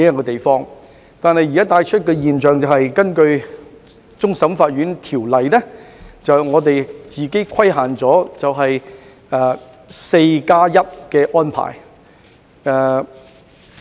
但是，現時的現象是，我們根據《香港終審法院條例》自我規限，實施 "4+1" 的安排。